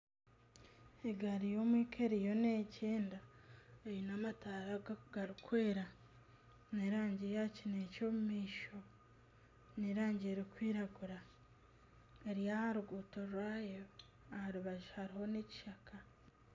Egaari y'omwika eriyo neegyenda eine amataara garikwera g'erangi ya kineekye omu maisho n'erangi erikwiragura eri aha ruguuto rwayo aha rubaju hariho n'ekishaka